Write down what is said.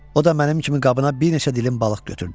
O da mənim kimi qabına bir neçə dilim balıq götürdü.